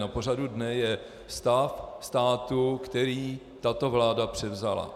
Na pořadu dne je stav státu, který tato vláda převzala.